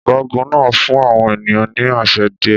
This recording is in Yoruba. Ọ̀gágun náà fún àwọn ènìyàn ní àṣẹ díẹ̀.